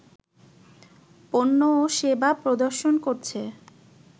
পণ্য ও সেবা প্রদর্শন করছে